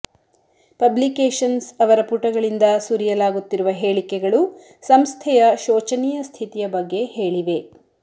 publications ಅವರ ಪುಟಗಳಿಂದ ಸುರಿಯಲಾಗುತ್ತಿರುವ ಹೇಳಿಕೆಗಳು ಸಂಸ್ಥೆಯ ಶೋಚನೀಯ ಸ್ಥಿತಿಯ ಬಗ್ಗೆ ಹೇಳಿವೆ